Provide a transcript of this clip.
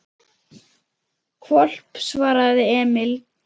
Hvolp, svaraði Emil.